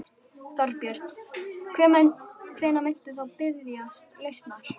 Þorbjörn: Hvenær muntu þá biðjast lausnar?